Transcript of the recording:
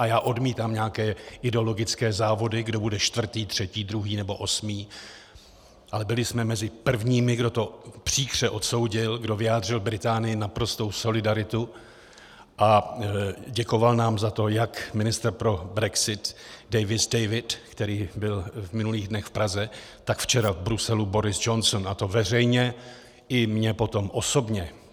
A já odmítám nějaké ideologické závody, kdo bude čtvrtý, třetí, druhý nebo osmý, ale byli jsme mezi prvními, kdo to příkře odsoudil, kdo vyjádřil Británii naprostou solidaritu, a děkoval nám za to jak ministr pro brexit David Davis, který byl v minulých dnech v Praze, tak včera v Bruselu Boris Johnson, a to veřejně i mně potom osobně.